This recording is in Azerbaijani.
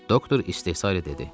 Doktor istehza etdi.